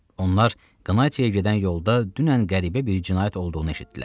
Onlar Qnatiyə gedən yolda dünən qəribə bir cinayət olduğunu eşitdilər.